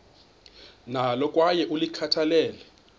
nalo kwaye ulikhathalele